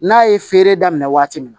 N'a ye feere daminɛ waati min